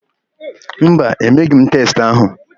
Mba, emeghị m testị ahụ.